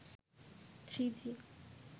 three G